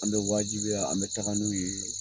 An bɛ wajibiya an bɛ taga n'u ye .